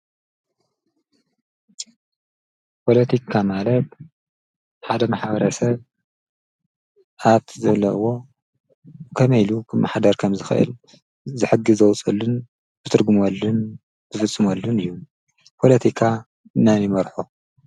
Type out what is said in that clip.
ጶለቲካ ማለብ ሓደ ም ሓውረሰብ ኣብቲ ዘለዎ ኸመኢሉ መሓደር ከም ዝኽእል ዝሕጊ ዘወሰሉን ብትርግምወልን ብዘስሙሉን እዩ ጶለቲካ እናኒመርሑ